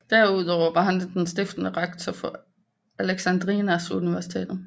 Derudover var han den stiftende rektor for Alexandrias Universitet